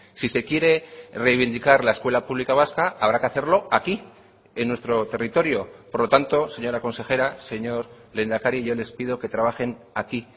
si se quiere reivindicar la escuela pública vasca habrá que hacerlo aquí en nuestro territorio por lo tanto señora consejera señor lehendakari yo les pido que trabajen aquí